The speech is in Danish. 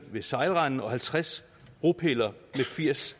ved sejlrenden og halvtreds bropiller med firs